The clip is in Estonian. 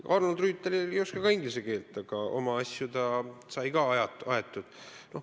Ega Arnold Rüütel ei oska ka inglise keelt, aga oma asjad ta sai ka aetud.